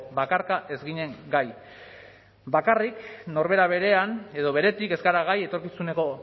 bakarka ez ginen gai bakarrik norbera berean edo beretik ez gara gai etorkizuneko